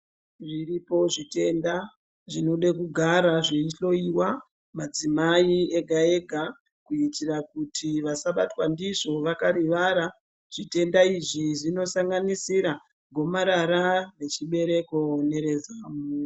Zviripo zvitenda zvinode kugara zveihloyiwa madzimai ega ega kuitira kuti vasabatwa ndizvo vakarivara zvitenda izvi zvinosanganisira gomarara rechibereko nerezamu.